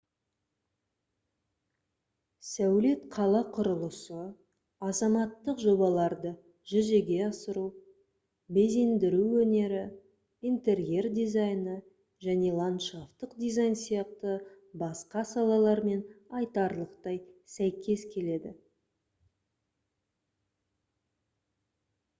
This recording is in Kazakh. сәулет қала құрылысы азаматтық жобаларды жүзеге асыру безендіру өнері интерьер дизайны және ландшафтық дизайн сияқты басқа салалармен айтарлықтай сәйкес келеді